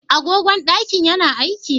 Agogon ɗakin ya na aiki?